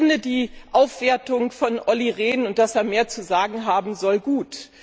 Ich finde, die Aufwertung von Olli Rehn und dass er mehr zu sagen haben soll gut.